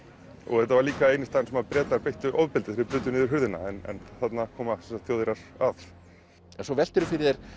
þetta var líka eini staðurinn sem að Bretar beittu ofbeldi þegar þeir brutu niður hurðina en þarna koma sem sagt Þjóðverjar að svo veltirðu fyrir þér